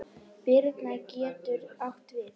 Birna getur átt við